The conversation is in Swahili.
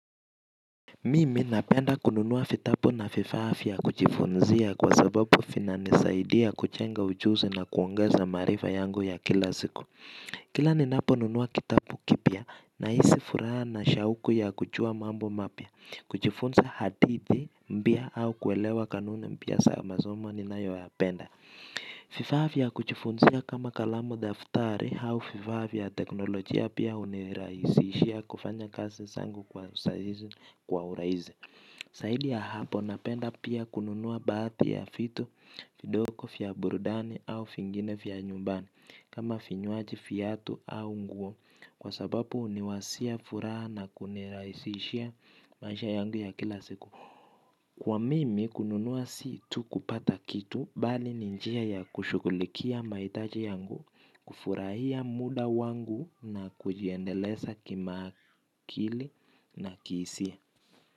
Mimi napenda kununuwa fitapu na fifaa fya kuchifunzia kwa sababu fina nisaidia kuchenga ujuzi na kuongeza maarifa yangu ya kila ziku. Kila ninapo nunua kitapu kipya na isi furaha na shauku ya kuchua mambo mapya, kuchifunza hadithi mbia au kuelewa kanune mbia saamazoma ni nayo ya penda. Fifaa fya kuchifunzia kama kalamu daftari au fifaa fya teknolojia pia uniraisishia kufanya kasi sangu kwa saizi kwa uraizi. Saidi ya hapo napenda pia kununua baathi ya fitu. Vidoko fya burudani au fingine fya nyumbani kama finyuaji fiyatu au nguo kwa sababu uniwasia furaha na kuniraisishia maisha yangu ya kila siku kwa mimi kununua si tu kupata kitu bali ni njia ya kushugulikia maitaji yangu kufurahia muda wangu nakujiendelesa kima kili na kiisia.